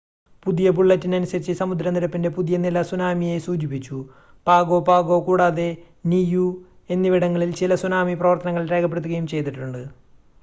പുതിയ ബുള്ളറ്റിനനുസരിച്ച് സമുദ്ര നിരപ്പിൻ്റെ പുതിയ നില സുനാമിയെ സൂചിപ്പിച്ചു പാഗോ പാഗോ കൂടാതെ നിയൂ എന്നിവിടങ്ങളിൽ ചില സുനാമി പ്രവർത്തനങ്ങൾ രേഖപ്പെടുത്തുകയും ചെയ്തിട്ടുണ്ട്